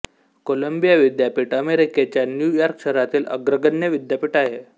Colombia विद्यापीठ अमेरिकेच्या New York शहरातील अग्रगण्य विद्यापीठ आहे